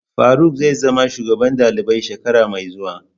Faruk zai zama shugaban dalibai shekara mai zuwa.